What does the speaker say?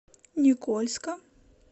никольска